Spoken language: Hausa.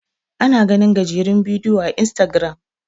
ana ganin gajerun bidiyo a istagiram